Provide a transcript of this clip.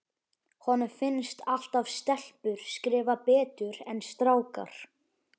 Honum finnst alltaf stelpur skrifa betur en strákar.